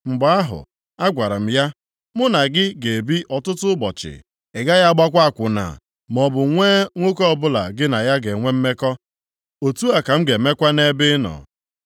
Mgbe ahụ agwara m ya, “Mụ na gị ga-ebi ọtụtụ ụbọchị, ị gaghị agbakwa akwụna, maọbụ nwee nwoke ọbụla gị na ya ga-enwe mmekọ, otu a ka m ga-emekwa nʼebe ị nọ.”